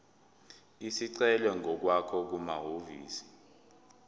isicelo ngokwakho kumahhovisi